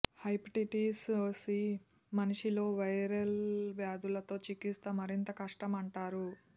hepatitis C మనిషి లో viral వ్యాధులతో చికిత్స మరింత కష్టం అంటారు